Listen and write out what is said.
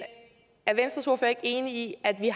er venstres ordfører ikke enig i at vi